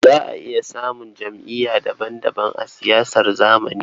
Za a iya samun jam'iyyu daban-daban a siyasar zamani.